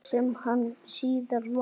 Sem hann síðar varð.